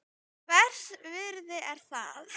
Hvers virði er það?